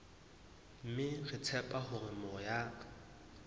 mme re tshepa hore moya